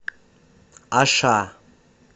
аша